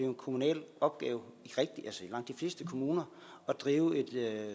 en kommunal opgave i langt de fleste kommuner at drive et